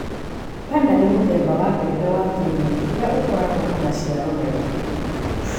Pannar nĩ mũthemba wa mbembe wa kĩrĩu ũrĩa ũkoragwo na maciaro maingĩ